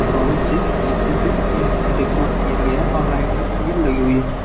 बहुत से अच्छे से डेकोरेट किया गया और लाइटिंग भी लगी हुई है।